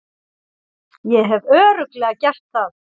Ég hef Örugglega gert það.